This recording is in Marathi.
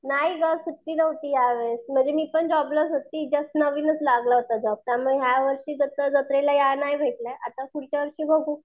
नाही गं सुट्टी नव्हती यावेळेस. म्हणजे मी पण जॉबलाच होती जस्ट नवीनचं लागला होता जॉब त्यामुळे यावर्षी जत्रेला जायला नाही भेटले आता पुढच्या वर्षी बघू.